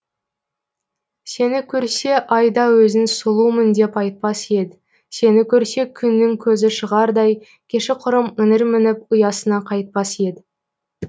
сені көрсе айда өзін сұлумын деп айтпас еді сені көрсе күннің көзі шығардай кешіқұрым іңір мініп ұясына қайтпас еді